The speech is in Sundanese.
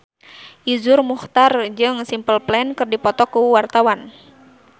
Iszur Muchtar jeung Simple Plan keur dipoto ku wartawan